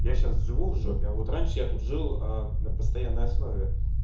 я сейчас живу в жопе а вот раньше я тут жил а на постоянной основе